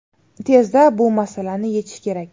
Tezda bu masalani yechish kerak.